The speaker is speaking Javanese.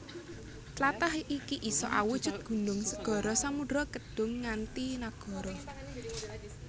Tlatah iki isa awujud gunung segara samudra kedhung nganti nagara